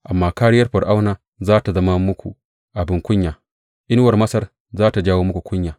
Amma kāriyar Fir’auna za tă zama muku abin kunya, inuwar Masar za tă jawo muku kunya.